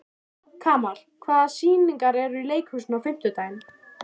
Kamal, hvaða sýningar eru í leikhúsinu á fimmtudaginn?